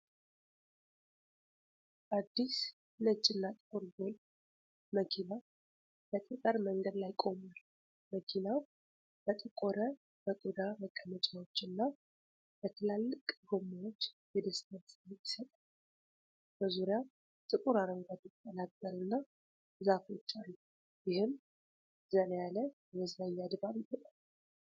አዲስ ፣ ነጭና ጥቁር ጎልፍ መኪና በጠጠር መንገድ ላይ ቆሟል። መኪናው በጠቆረ፣ በቆዳ መቀመጫዎች እና በትላልቅ ጎማዎች የደስታን ስሜት ይሰጣል። በዙሪያው ጥቁር አረንጓዴ ቅጠላቅጠል እና ዛፎች አሉ። ይህም ዘና ያለ የመዝናኛ ድባብ ይፈጥራል።